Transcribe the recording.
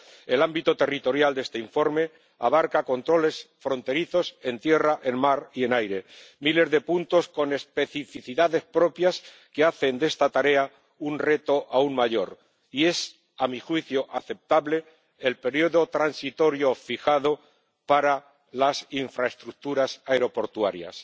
El ámbito territorial de este informe abarca controles fronterizos en tierra, en mar y en aire, miles de puntos con especificidades propias que hacen de esta tarea un reto aún mayor, y es a mi juicio aceptable el periodo transitorio fijado para las infraestructuras aeroportuarias.